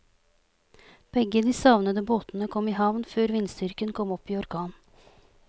Begge de savnede båtene kom i havn før vindstyrken kom opp i orkan.